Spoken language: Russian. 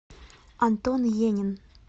антон енин